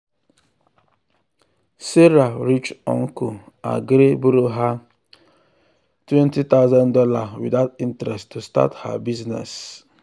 sarah rich uncle agree borrow her two thousand dollars0 without interest to start her business.